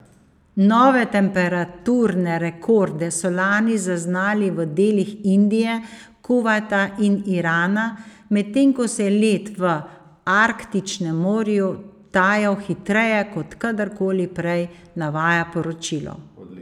Nove temperaturne rekorde so lani zaznali v delih Indije, Kuvajta in Irana, medtem ko se je led v Arktičnem morju tajal hitreje kot kadar koli prej, navaja poročilo.